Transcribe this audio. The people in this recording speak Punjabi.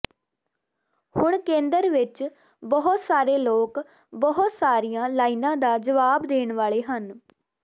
ਹੁਣ ਕੇਂਦਰ ਵਿੱਚ ਬਹੁਤ ਸਾਰੇ ਲੋਕ ਬਹੁਤ ਸਾਰੀਆਂ ਲਾਈਨਾਂ ਦਾ ਜਵਾਬ ਦੇਣ ਵਾਲੇ ਹਨ